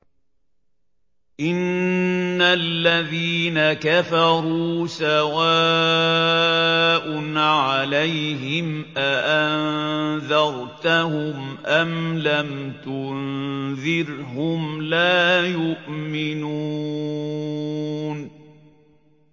إِنَّ الَّذِينَ كَفَرُوا سَوَاءٌ عَلَيْهِمْ أَأَنذَرْتَهُمْ أَمْ لَمْ تُنذِرْهُمْ لَا يُؤْمِنُونَ